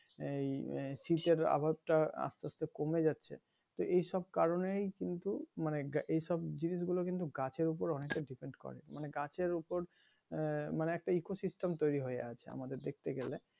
এই শীতের আভাস টা আসতে আসতে কমে যাচ্ছে চলে যাচ্ছে তো এইসব কারনেই কিন্তু মানে এইসব জিনিস গুলো কিন্তু গাছের ওপর অনেকটা depend করে মানে গাছের ওপর আহ মানে একটা eco system তৈরি হয়ে আছে আমাদের দেখতে গেলে,